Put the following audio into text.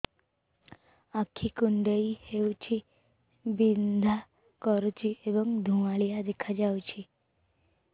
ଆଖି କୁଂଡେଇ ହେଉଛି ବିଂଧା କରୁଛି ଏବଂ ଧୁଁଆଳିଆ ଦେଖାଯାଉଛି